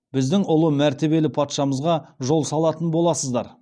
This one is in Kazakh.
біздің ұлы мәртебелі патшамызға жол салатын боласыздар